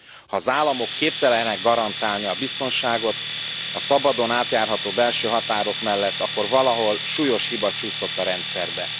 Ha az államok képtelenek garantálni a biztonságot a szabadon átjárható belső határok mellett, akkor valahol súlyos hiba csúszott a rendszerbe.